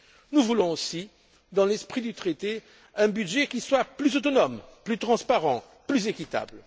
Nous voulons aussi, dans l'esprit du traité, un budget qui soit plus autonome, plus transparent et plus équitable.